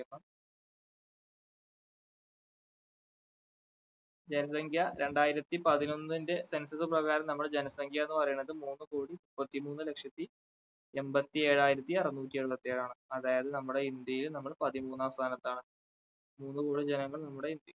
ജനസംഖ്യ രണ്ടായിരത്തി പതിനൊന്നിന്റെ census പ്രകാരം നമ്മളെ ജനസംഖ്യ എന്ന് പറയുന്നത് മൂന്നു കോടി മുപ്പത്തി മൂന്നു ലക്ഷത്തി എൺപത്തി ഏഴായിരത്തി അറുനൂറ്റി എഴുപത്തേഴാണ്. അതായത് നമ്മുടെ ഇന്ത്യയിൽ നമ്മൾ പതിമൂന്നാം സ്ഥാനത്താണ് മൂന്നു കോടി ജനങ്ങൾ നമ്മുടെ